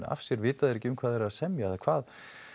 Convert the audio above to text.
af sér vita þeir ekki um hvað þeir eru að semja eða hvað